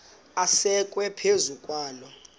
asekwe phezu kwaloo